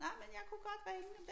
Nej men jeg kunne godt ringe og